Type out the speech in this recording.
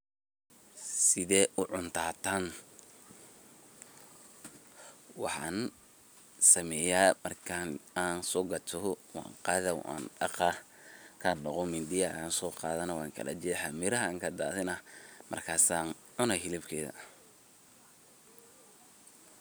Sidhed ucunta tan, waxan sameya markan sogato wan qada wandaqa markan daqo mindi ayan soqadhanah, wan kala jexa miraha ayan kadadhinah markas ancuna hilibkeda.